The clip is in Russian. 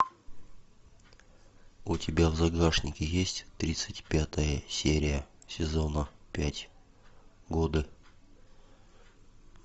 у тебя в загашнике есть тридцать пятая серия сезона пять годы